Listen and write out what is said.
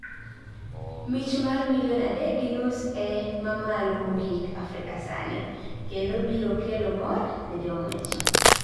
Mich mar million adek gi nus e mamalo mogik Afrika sani, kendo biro kelo mor ne jong'wech